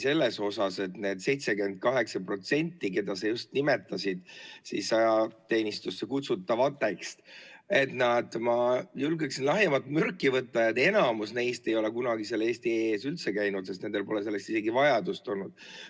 Nendest 78%‑st, keda sa just nimetasid ajateenistusse kutsutavateks – ma julgeksin siin lahjemat mürki võtta –, enamus ei ole kunagi eesti.ee‑s üldse käinud, sest neil pole selleks vajadust olnud.